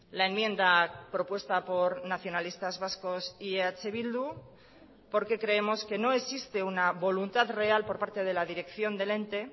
la enmienda propuesta por nacionalistas vascos y eh bildu porque creemos que no existe una voluntad real por parte de la dirección del ente